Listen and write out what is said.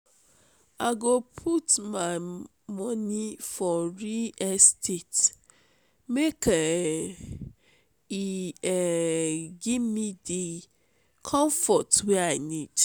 i go put my moni for real estate make um e um give me di comfort wey i need